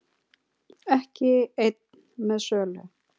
Ekki einn með sölu